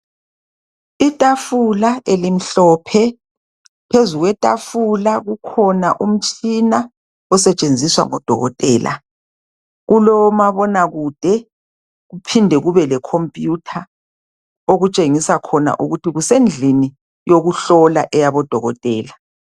Itafula elimhlophe, phezu kwetafula kukhona umtshina osetshenziswa ngodokotela. Kulomabonakude kuphinde kube lecomputer okutshengisa khona ukuthi kusendlini yokuhlola eyabodokotela.